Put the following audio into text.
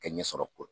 Kɛɲɛ sɔrɔ koyi